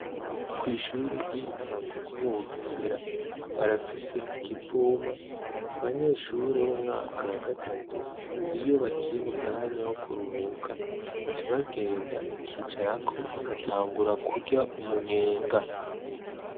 Kw'ishure ry'intago ryo mu Bugesera barafise ikivuma abanyeshure bo mu mwaka wa gatatu iyo bagiye mu mwanya wo kuruhuka baca bagenda bakicarako bagatangura kurya umunyenga.